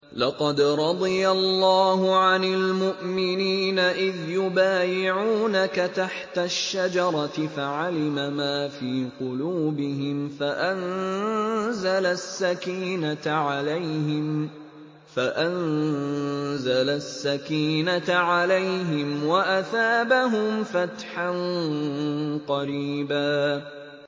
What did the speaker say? ۞ لَّقَدْ رَضِيَ اللَّهُ عَنِ الْمُؤْمِنِينَ إِذْ يُبَايِعُونَكَ تَحْتَ الشَّجَرَةِ فَعَلِمَ مَا فِي قُلُوبِهِمْ فَأَنزَلَ السَّكِينَةَ عَلَيْهِمْ وَأَثَابَهُمْ فَتْحًا قَرِيبًا